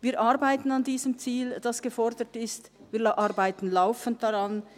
Wir arbeiten am geforderten Ziel, wir arbeiten laufend daran.